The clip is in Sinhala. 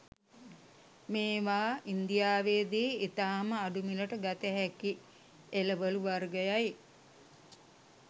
මේවා ඉංදියාවේදී ඉතාම අඩු මිලට ගතහැකි එළවලූ වර්ගයි.